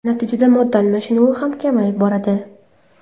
Natijada modda almashinuvi ham kamayib boradi.